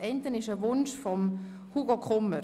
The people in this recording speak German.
Die eine ist ein Wunsch von Grossrat Kummer.